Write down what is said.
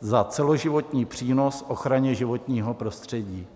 za celoživotní přínos ochraně životního prostředí.